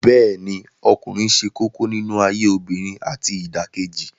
Bẹ́ẹ̀ ni ọkùnrin ṣe kókó nínú ayé obìnrin àti ìdàkejì